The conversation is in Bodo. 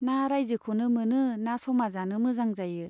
ना राइजोखौनो मोनो ना समाजानो मोजां जायो।